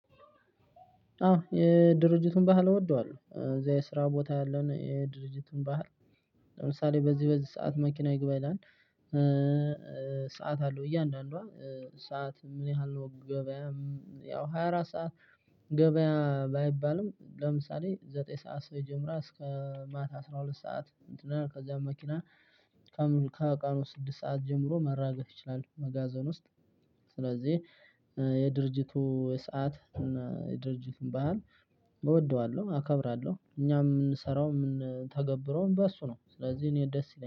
አዎ የድርጅቱን ባህል እወደዋለሁ። እዛ የስራ ቦታ ያለውን የድርጅቱን ባህል ለምሳሌ በዚህ በዚህ ሰዓት መኪና ይግባ ይላል:' ሰዓት አለው እያንዳንዷ ሰዓት ምን ያህል ነው ገበያ ያው ሃያ አራት ሰዓት- ገበያ ባይባልም ለምሳሌ ዘጠኝ ሰዓት ሰው ይጀምራል እስከ ማታ አስራ ሁለት ሰዓት እንትን ከዚያም መኪና ከቀኑ ስድስት ሰዓት ጀምሮ መራገፍ ይችላል መጋዘን ውስጥ። ስለዚህ የድርጅቱ ሰዓት የድርጅቱን ባሕለ እወደዋለሁ። አከብራለሁ። እኛ የምንሰራው የምንተገብረውም በእሱ ነው ስለዚህ እኔ ደስ ይለኛል።